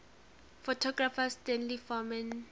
photographer stanley forman